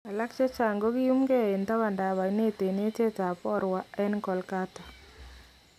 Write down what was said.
Alak chechang kokiyumkee en tabantaab ayneet en eetyeet ab Howrah en Kolkata.